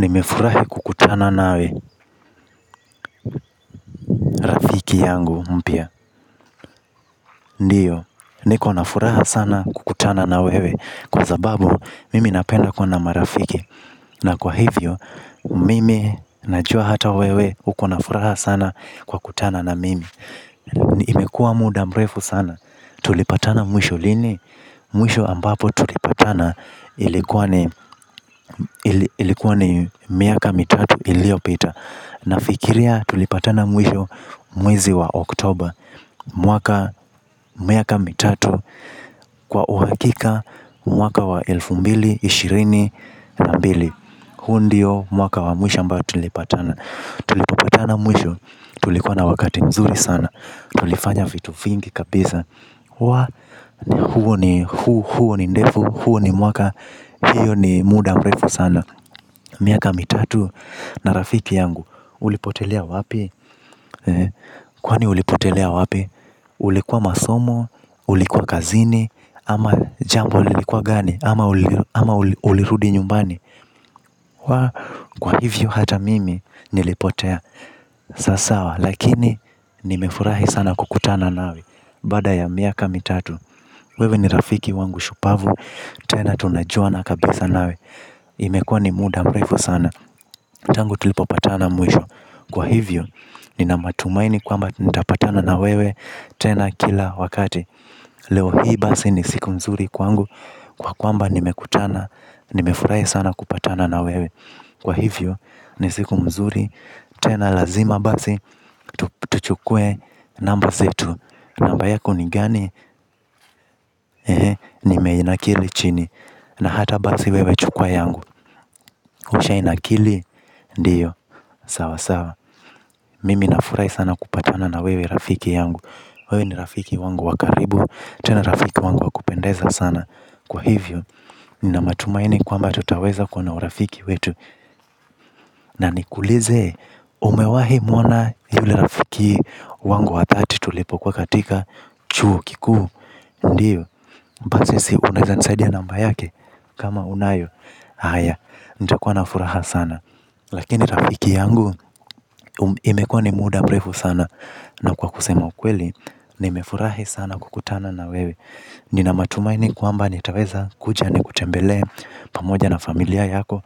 Nimefurahi kukutana nawe rafiki yangu mpya. Ndio, niko na furaha sana kukutana na wewe kwa sababu, mimi napenda kuwa na marafiki. Na kwa hivyo, mimi najua hata wewe uko na furaha sana kwa kutana na mimi. Imekuwa muda mrefu sana. Tulipatana mwisho lini? Mwisho ambapo tulipatana ilikuwa ni miaka mitatu iliopita. Nafikiria tulipatana mwisho mwezi wa Oktoba miaka mitatu kwa uhakika, mwaka wa elfu mbili na ishirini na mbili. Huu ndio mwaka wa mwisho ambao tulipatana. Tulipopatana mwisho tulikuwa na wakati mzuri sana, tulifanya vitu vingi kabisa. Huo ni mwaka hio ni muda mrefu sana. Miaka mitatu na rafiki yangu ulipotelia wapi? Kwani ulipotelea wapi? Ulikuwa masomo? Ulikuwa kazini? Ama jambo lilikuwa gani? Ama ulirudi nyumbani? Kwa hivyo hata mimi nilipotea. Sawa sawa lakini nimefurahi sana kukutana nawe baada ya miaka mitatu. Wewe ni rafiki wangu shupavu tena tunajuana kabisa nawe. Imekuwa ni muda mrefu sana. Tangu tulipopatana mwisho. Kwa hivyo, nina matumaini kwamba nitapatana na wewe tena kila wakati. Leo hii basi ni siku nzuri kwangu, kwa kwamba nimekutana, nimefurahi sana kupatana na wewe. Kwa hivyo, ni siku mzuri, tena lazima basi. Tuchukue namba zetu. Namba yako ni gani? Ee, nimeinakili chini. Na hata basi wewe chukua yangu. Usha inakili? Ndio, sawa sawa. Mimi nafurahi sana kupatana na wewe rafiki yangu. Wewe ni rafiki wangu wa karibu, tena rafiki wangu wakupendeza sana. Kwa hivyo, nina matumaini kwamba tutaweza kuwa na urafiki wetu. Na nikulize, umewahi muona yule rafiki wangu wa dhati tulipokuwa katika chuo kikuu? Ndio basi si unaweza nisaidia namba yake? Kama unayo, haya, nitakuwa na furaha sana. Lakini rafiki yangu, imekuwa ni muda mrefu sana. Na kwa kusema ukweli, nimefurahi sana kukutana na wewe. Nina matumaini kwamba nitaweza kuja ni kutembelee pamoja na familia yako.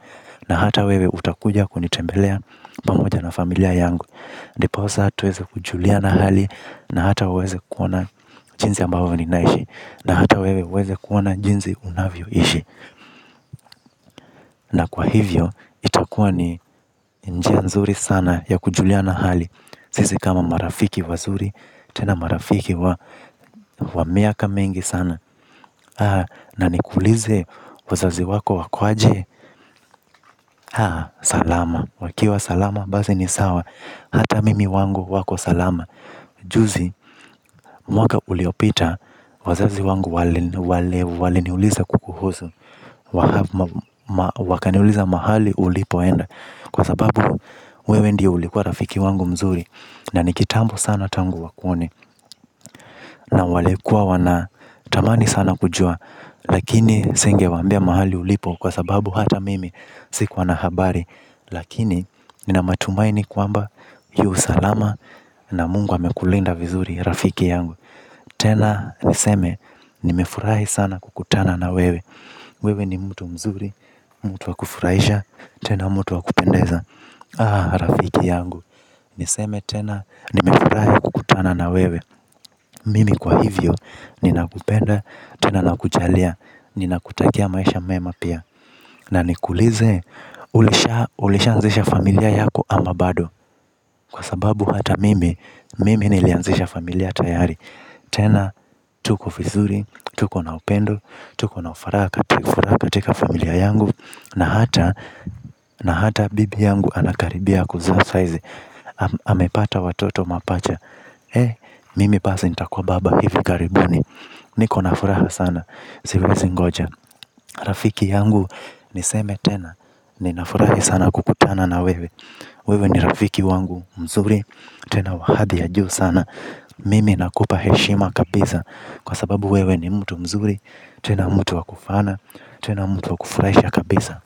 Na hata wewe utakuja kunitembelea pamoja na familia yangu. Ndiposa tuweze kujuliana hali na hata uweze kuona jinsi ambavyo ninaishi. Na hata wewe uweze kuona jinsi unavyoishi. Na kwa hivyo, itakua ni njia nzuri sana ya kujuliana hali sisi kama marafiki wazuri, tena marafiki wa miaka mingi sana. Na nikulize wazazi wako wako aje? Haa salama. Wakiwa salama, basi ni sawa, hata mimi wangu wako salama. Juzi, mwaka uliopita, wazazi wangu waliniuliza kukuhusu. Wakaniuliza mahali, ulipoenda. Kwa sababu, wewe ndiye ulikuwa rafiki wangu mzuri. Na nikitambo sana tangu wakuone. Na walikuwa wana tamani sana kujua. Lakini singewaambia mahali ulipo kwa sababu hata mimi sikuwa na habari. Lakini nina matumaini kwamba yu salama na Mungu amekulinda vizuri rafiki yangu. Tena niseme nimefurahi sana kukutana na wewe. Wewe ni mtu mzuri, mtu wakufurahisha, tena mtu wa kupendeza aah rafiki yangu. Niseme tena nimefurahi kukutana na wewe. Mimi kwa hivyo, nina kupenda, tena na kujalia, nina kutakia maisha mema pia. Na nikulize, ulisha anzisha familia yako ama bado? Kwa sababu hata mimi, mimi nilianzisha familia tayari. Tena, tuko vizuri, tuko na upendo, tuko na furaha ikatika familia yangu. Na hata, na hata bibi yangu anakaribia kuzaa saa hizi amepata watoto mapacha, mimi basi nitakuwa baba hivi karibuni. Niko na furaha sana, siwezi ngoja. Rafiki yangu niseme tena, ninafurahi sana kukutana na wewe. Wewe ni rafiki yangu mzuri tena wa hali ya juu sana. Mimi nakupa heshima kabisa. Kwa sababu wewe ni mtu mzuri, tena mtu wakufana, tena mtu wa kufurahisha kabisa.